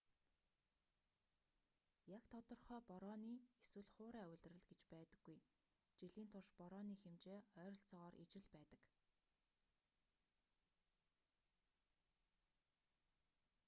яг тодорхой борооны эсвэл хуурай улирал гэж байдаггүй жилийн турш борооны хэмжээ ойролцоогоор ижил байдаг